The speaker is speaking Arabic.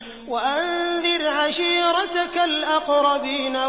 وَأَنذِرْ عَشِيرَتَكَ الْأَقْرَبِينَ